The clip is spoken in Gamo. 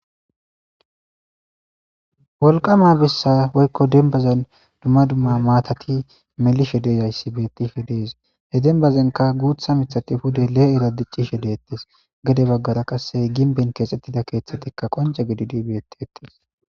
Wolqama bessa woykko dembazan dumma dumma maatati melishe dezayssi bettishe dees he denbazenka guutha mithati pude lee7era diccishe dettes gede baggara qasse ginben keexxettida keeththatikka qonja gidi dibeettettis.